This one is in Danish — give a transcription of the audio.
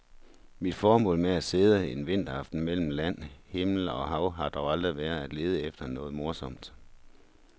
Mit formål med at sidde en vinteraften mellem land, himmel og hav har dog aldrig været at lede efter noget morsomt.